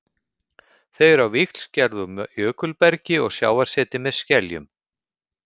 Þau eru á víxl gerð úr jökulbergi og sjávarseti með skeljum.